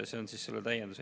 Selline täiendus.